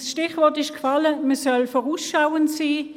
Das Stichwort ist gefallen, man solle vorausschauend sein.